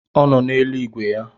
Ọ nọ na-elu ìgwè ya